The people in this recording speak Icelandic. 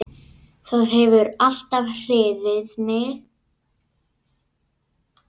Það hefur alltaf hrifið mig.